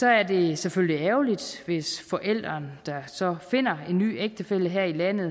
er det selvfølgelig ærgerligt hvis forælderen der så finder en ny ægtefælle her i landet